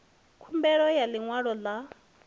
khumbelo ya ḽi ṅwalo ḽa